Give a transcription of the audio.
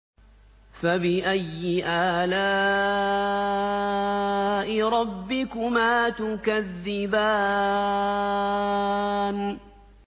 فَبِأَيِّ آلَاءِ رَبِّكُمَا تُكَذِّبَانِ